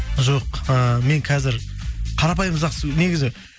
жоқ ы мен қазір қарапайым жақсы негізі